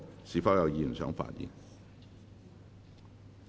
是否有議員想發言？